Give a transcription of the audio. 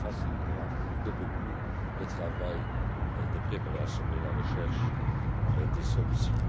Cela facilitera beaucoup le travail de préparation et la recherche des solutions.